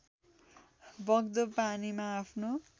बग्दो पानीमा आफ्नो